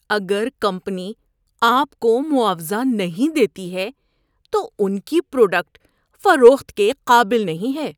اگر کمپنی آپ کو معاوضہ نہیں دیتی ہے تو ان کی پروڈکٹ فروخت کے قابل نہیں ہے۔